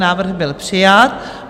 Návrh byl přijat.